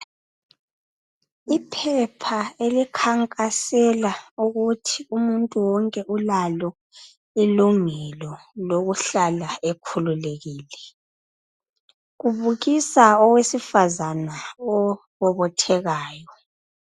Iphepha elikhankasela ukuthi umuntu wonke ulalo ilungelo lokuhlala ekhululekile Kubukisa owesifazana obobothekayo.